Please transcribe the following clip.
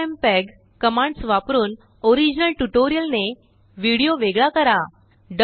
FFmpeg commands वापरूनओरिजिनल ट्यूटोरियलनेविडिओ वेगळा करा